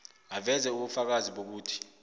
aveze ubufakazi bokuthi